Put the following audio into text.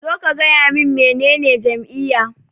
Zo ka gaya min menene jam'iyya.